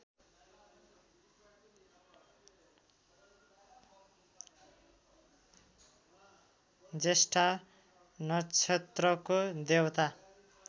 ज्येष्ठा नक्षत्रको देवता